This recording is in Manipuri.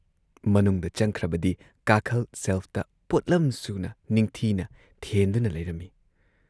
ꯃꯅꯨꯡꯗ ꯆꯪꯈ꯭ꯔꯕꯗꯤ ꯀꯥꯈꯜ ꯁꯦꯜꯐꯇ ꯄꯣꯠꯂꯝꯁꯨꯅ ꯅꯤꯡꯊꯤꯅ ꯊꯦꯟꯗꯨꯅ ꯂꯩꯔꯝꯏ ꯫